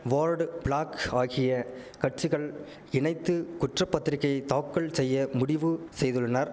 ward bloc ஆகிய கட்சிகள் இணைத்து குற்ற பத்திரிக்கை தாக்கல் செய்ய முடிவு செய்துள்ளனர்